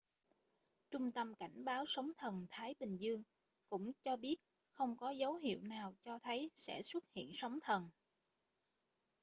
trung tâm cảnh báo sóng thần thái bình dương cũng cho biết không có dấu hiệu nào cho thấy sẽ xuất hiện sóng thần